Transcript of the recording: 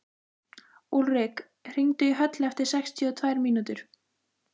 Úlrik, hringdu í Höllu eftir sextíu og tvær mínútur.